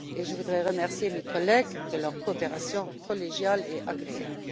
Je voudrais remercier mes collègues de leur coopération collégiale et agréable.